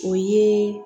O ye